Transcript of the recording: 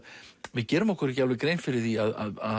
við gerum okkur ekki alveg grein fyrir því að